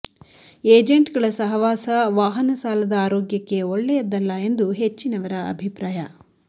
agent ಗಳ ಸಹವಾಸ ವಾಹನ ಸಾಲದ ಆರೋಗ್ಯಕ್ಕೆ ಒಳ್ಳೆಯದ್ದಲ್ಲ ಎಂದು ಹೆಚ್ಚಿನವರ ಅಭಿಪ್ರಾಯ